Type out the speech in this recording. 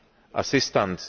assistance